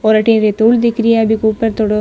और अठी बी ऊपर थोड़ो--